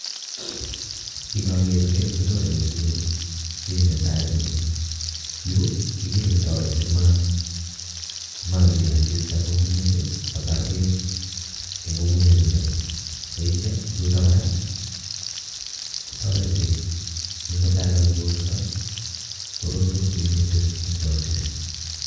Ingogeer ni konyone metinyu kiiy netai neu ni, yu kikirindoi simalil asista ngungunyek kotaar beek eng ngungunyek chuto, teityo yuto kors kotoreti si mutai kakikolso korutu minutik eng chokchinet.